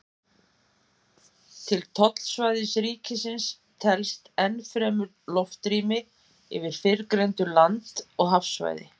til tollsvæðis ríkisins telst enn fremur loftrými yfir fyrrgreindu land og hafsvæði